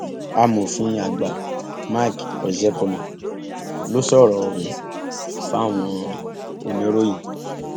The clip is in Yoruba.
amòfin àgbà mike ozekhome ló sọrọ ọhún fáwọn oníròyìn